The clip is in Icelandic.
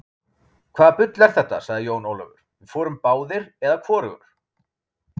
Hvaða bull er þetta, sagði Jón Ólafur, við förum báðir eða hvorugur.